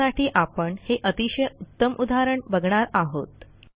त्यासाठी आपण हे अतिशय उत्तम उदाहरण बघणार आहोत